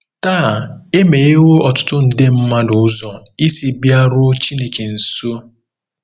Taa, e meghewo ọtụtụ nde mmadụ ụzọ isi bịaruo Chineke nso!